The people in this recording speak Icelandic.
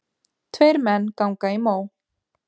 Tveir menn ganga í mó.